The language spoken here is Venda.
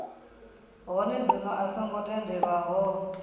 hone zwino a songo tendelwaho